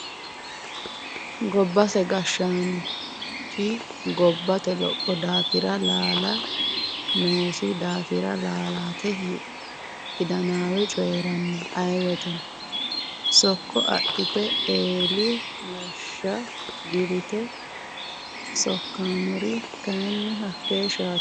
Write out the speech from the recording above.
Gobbate gashshanchi gobbate lopho daafira laala noosi daafira laalate hidanawe coyirano ayee woyteno sokko adhite eelli geeshsha dirite loosanori kayinni hakeeshshatilla.